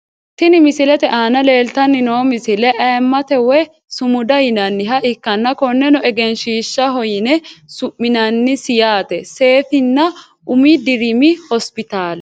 Tini misilete aana leeltani noo misile ayiimate woyi sumuda yinaniha ikanna koneno egenshshiishaho yine suminanisi yaate sefinna umi dirimi hosipitaale.